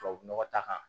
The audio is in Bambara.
Tubabu nɔgɔ ta kan